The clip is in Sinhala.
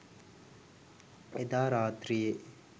එදා රාත්‍රියේ